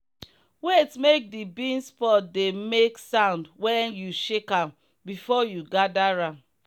wait make the beans pod dey make sound when you shake am before you gather am.